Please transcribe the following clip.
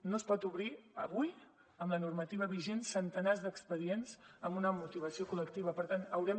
no es pot obrir avui amb la normativa vigent centenars d’expedients amb una motivació col·lectiva per tant haurem